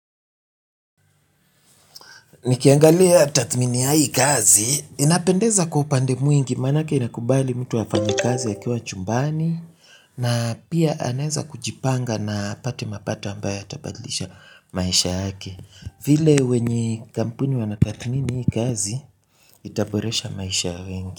Nikiangalia tathmini ya hii kazi inapendeza kwa upande mwingi manake inakubali mtu afanye kazi akiwa chumbani na pia anaweza kujipanga na apate mapata ambayo yatabadlisha maisha yake vile wenye kampuni wanatathmini kazi itaboresha maisha ya wengi.